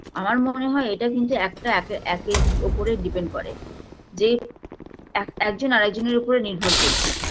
আমার মনে হয় এটা কিন্তু একটা একে একের ওপরে depend করে যে এক একজন আরেকজনের ওপরে নির্ভর করছে